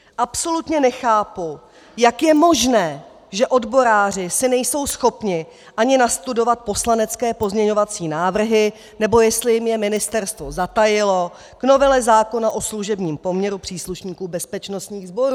Absolutně nechápu, jak je možné, že odboráři si nejsou schopni ani nastudovat poslanecké pozměňovací návrhy, nebo jestli jim je ministerstvo zatajilo, k novele zákona o služebním poměru příslušníků bezpečnostních sborů.